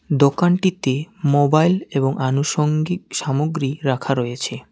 দোকানটিতে মোবাইল এবং আনুষঙ্গিক সামগ্রী রাখা রয়েছে।